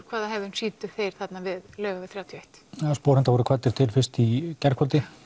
hvað hegðun sýndu þeir þarna við Laugaveg þrjátíu og eitt sporhundar voru kvaddir til fyrst í gærkvöldi